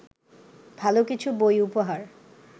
ভালো কিছু বই উপহার